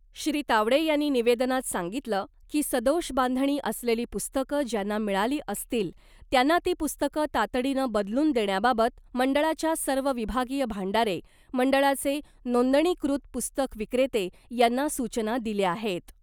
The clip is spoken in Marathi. श्री तावडे यांनी निवेदनात सांगितलं की सदोष बांधणी असलेली पुस्तकं ज्यांना मिळाली असतील त्यांना ती पुस्तकं तातडीनं बदलून देण्याबाबत मंडळाच्या सर्व विभागीय भांडारे , मंडळाचे नोंदणीकृत पुस्तक विक्रेते यांना सूचना दिल्या आहेत .